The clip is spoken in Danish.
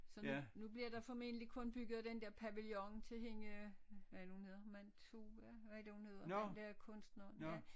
Så nu nu bliver der formentlig kun bygget den der pavillon til hende hvad er det nu hun hedder man tog ja hvad er det hun hedder den der kunstneren ja